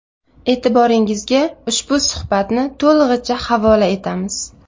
E’tiboringizga ushbu suhbatni to‘lig‘icha havola etamiz.